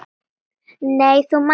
Nei þú manst ekki.